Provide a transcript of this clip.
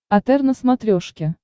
отр на смотрешке